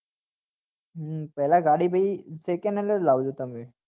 હા પેલા ગાડી ભાઈ secondhand જ લાવજો તમે